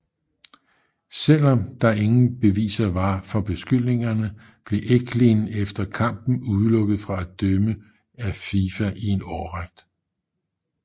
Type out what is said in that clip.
Selvom der ingen beviser var for beskyldningerne blev Eklind efter kampen udelukket fra at dømme af FIFA i en årrække